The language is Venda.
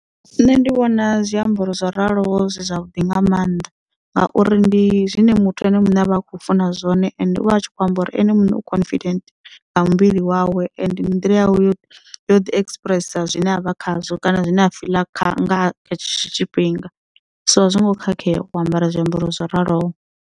Nṋe ndi vhona zwiambaro zwo raloho zwi zwavhuḓi nga maanḓa ngauri ndi zwine muthu ene muṋe a vha a khou funa zwone and u vha a tshi khou amba uri ene muṋe u confident nga muvhili wawe ende ndi nḓila yawe yo yo ḓi express zwine avha khazwo kana zwine a fiḽa nga hetsho tshifhinga so a zwongo khakhea wo ambara zwiambaro zwo raloho.